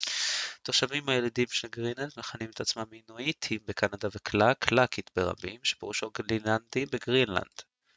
התושבים הילידיים של גרינלנד מכנים עצמם אינואיטים בקנדה וקלאלק קלאלית ברבים שפירושו גרינלנדי בגרינלנד